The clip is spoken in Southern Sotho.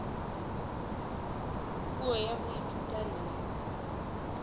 puo ya ho ithuta le